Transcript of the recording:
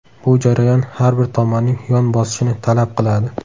Bu jarayon har bir tomonning yon bosishini talab qiladi.